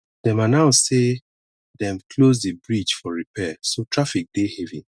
dem announce sey dem close di bridge for repair so traffic dey heavy